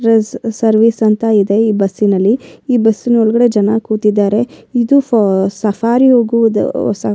ಈ ಸರ್ವಿಸ್ ಅಂತ ಇದೆ ಈ ಬಸ್ ನಲ್ಲಿ ಈ ಬಸ್ ನೊಳಗಡೆ ಜನ ಕೂತಿದ್ದಾರೆ ಇದು ಸ ಸಫಾರಿ ಹೋಗುವುದು ಸಫಾರಿ .